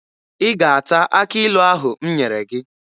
Ị ga-ata akị ilu ahụ m nyere gị!